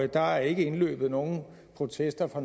der er ikke indløbet nogen protester fra